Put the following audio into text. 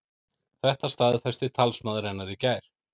Þetta staðfesti talsmaður hennar í gær